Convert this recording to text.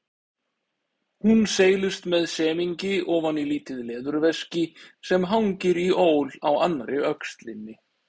Hún seilist með semingi ofan í lítið leðurveski sem hangir í ól á annarri öxlinni.